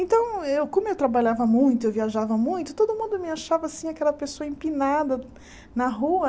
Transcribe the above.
Então, eu como eu trabalhava muito, eu viajava muito, todo mundo me achava assim, aquela pessoa empinada na rua.